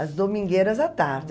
As domingueiras à tarde.